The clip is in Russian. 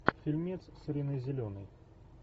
фильмец с риной зеленой